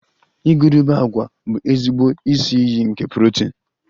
Igurube agwa bụ ezigbo isi iyi nke protin